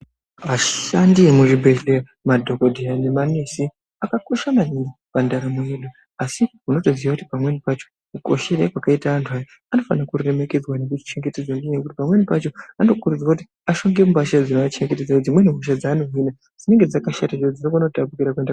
Ashandi emuzvibhedhleya madhokodheya nemanesi akakosha maningi pandaramo yedu asi unotoziya kuti pamweni pacho kukoshere kwakaita antu aya anofana kuremekedzwa ngekuchengetedzwa ngenyaya yekuti pamweni pacho anokurudzirwa kuti apfeke mbatya dzinoachengetedza dzimweni hisha dzaanohina dzinenge dzakashata ngekuti dzinokona kutapukira kuende